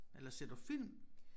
Eller ser du film?